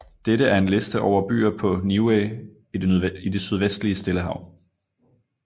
Dette er en liste over byer på Niue i det sydvestlige Stillehav